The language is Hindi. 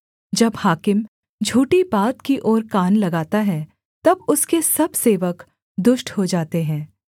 जब हाकिम झूठी बात की ओर कान लगाता है तब उसके सब सेवक दुष्ट हो जाते हैं